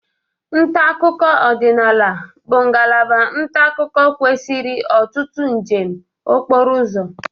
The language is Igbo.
Nta akụkọ ọdịnaala bụ ngalaba nta akụkọ kwesịrị ọtụtụ njem okporo ụzọ.